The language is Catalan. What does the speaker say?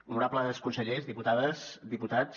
honorables consellers diputades diputats